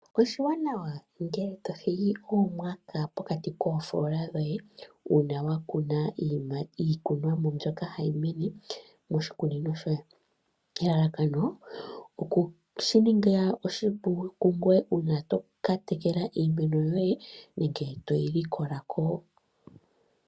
Oshiwanawa ngele to thigi po oomwaka pokati koofoola dhoye uuna wa kuna iimeno yoye moshikunino. Elalakano oshi ku ningile oshipu uuna to tekele iimeno yoye nenge toyi likola ko.